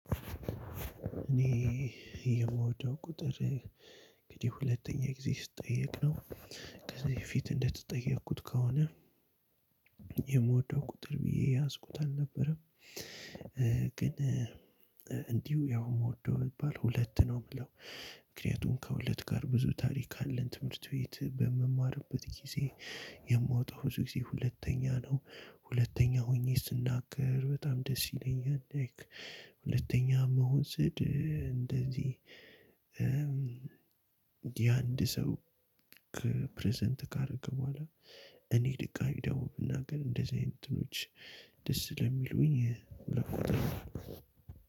እኔ የምወደው ቁጥር እንግዲህ ሁለተኛ ጊዜ ስትጠየቅ ነው። ፊት እንደተጠየቁት ከሆነ የምወደው ቁጥር ብዬ የያዝኩት አልነበረም። ግን እንዲሁ ያው የምወደው የሚባል ሁለት ነው የምለው። ምክንያቱም ከሁለት ጋር ብዙ ታሪክ አለን ትምህርት ቤት በምማርበት ጊዜ የምወጣው ሁለተኛ ነው። ሁለተኛ ሆኜ ስናገር በጣም ደስ ይለኛል። ሁለተኛ መሆን ስድር እንደዚህ። የአንድ ሰው ከፕረዘንት ካደረገ በኋላ። እኔ ድጋሚ ደውል እና ግን እንደዚህ አይነት እንትኖች ደስ ስለሚሉኝ ሁለት ቁጥር።